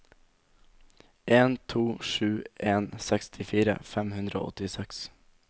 en to sju en sekstifire fem hundre og åttiseks